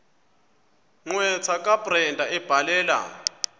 gqwetha kabrenda ebhalela